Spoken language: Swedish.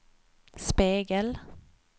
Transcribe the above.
spegel